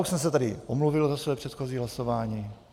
Už jsem se tady omluvil za své předchozí hlasování.